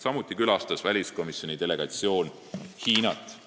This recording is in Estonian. Samuti külastas väliskomisjoni delegatsioon Hiinat.